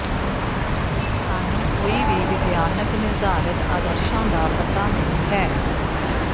ਸਾਨੂੰ ਕੋਈ ਵੀ ਵਿਗਿਆਨਕ ਨਿਰਧਾਰਤ ਆਦਰਸ਼ਾਂ ਦਾ ਪਤਾ ਨਹੀਂ ਹੈ